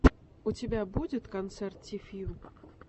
у тебя будет концерт ти фью